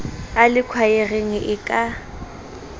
a le khwaereng e ka